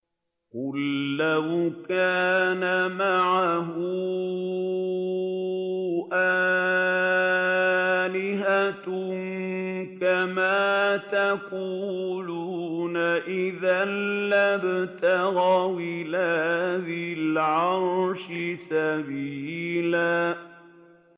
قُل لَّوْ كَانَ مَعَهُ آلِهَةٌ كَمَا يَقُولُونَ إِذًا لَّابْتَغَوْا إِلَىٰ ذِي الْعَرْشِ سَبِيلًا